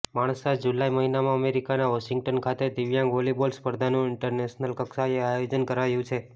Mansa July મહિનામાં અમેરિકાના Washington ખાતે દિવ્યાંગ વોલીબોલ સ્પર્ધાનું ઈન્ટરનેશનલ કક્ષાએ આયોજન કરાયું છે